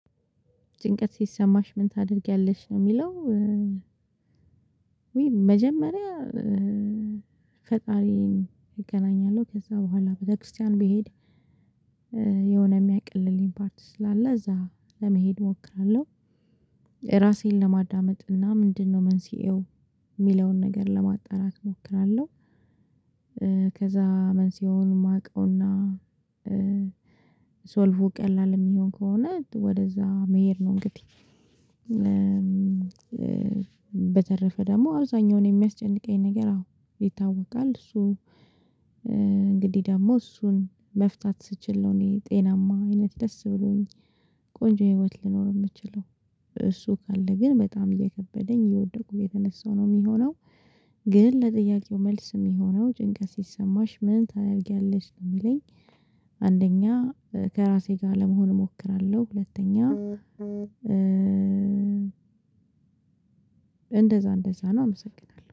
ጭንቀት ሲሰማሽ ምን ታደርጊያለሽ ነው የሚለው? ውይ መጀመሪያ ፈጣሪን እገናኛለሁ፣ ከዛ በኋላ ቤተክርስቲያን ብሄድ የሆነ የሚያቀልልኝ ፓርት ስላለ እዛ ለመሄድ እሞክራለሁ ራሴን ለማዳመጥ እና ምንድነው መንስኤው የሚለውን ነገር ለማጣራት እሞክራለሁ፣ ከዛ መንስኤውን የማውቀውና ሶልቩ ቀላል የሚሆን ከሆነ ወደዛ መሄድ ነው እንግዲህ በተረፈ ደግሞ አብዛኛውን የሚያስጨንቀኝ ነገር አዎ ይታወቃል። እሱ እንግዲህ ደግሞ እሱን መፍታት ስችል ነው እኔ ጤናማ አይነት ደስ ብሎኝ ቆንጆ ህይወት ልኖር ምችለው እሱ ካለ ግን በጣም እየከበደኝ የእወደቅኩ እየተነሳው ነው የሚሆነው ግን ለጥያቄው መልስ ሚሆነው ጭንቀት ሲሰማሽ ምን ታደርጊያለሽ? ነው የሚለኝ፣ አንደኛ ከራሴ ጋር ለመሆን እሞክራለሁ፣ ሁለተኛ እንደዛ እንደዛ ነው አመሰግናለሁ።